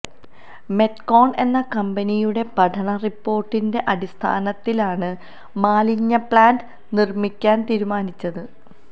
Metcon എന്ന കമ്പനിയുടെ പഠനറിപ്പോര്ട്ടിന്റെ അടിസ്ഥാനത്തിലാണ് മാലിന്യപ്ലാന്റ് നിര്മിക്കാന് തീരുമാനിച്ചത്